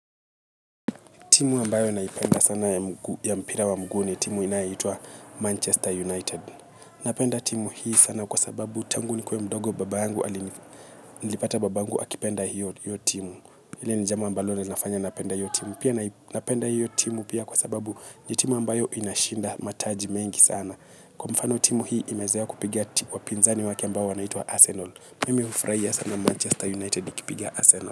Timu ambayo naipenda sana ya mpira wa mguu ni timu inayoitwa Manchester United. Napenda timu hii sana kwa sababu tangu nikuwe mdogo babangu nilipata babangu akipenda hiyo timu. Hili ni jambo ambalo lina fanya napenda hiyo timu. Pia napenda hiyo timu pia kwa sababu ni timu ambayo inashinda mataji mengi sana. Kwa mfano timu hii imezoea kupiga ti, wapinzani wake ambao wanaitwa Arsenal. Mimi hufurahia sana Manchester United ikipiga Arsenal.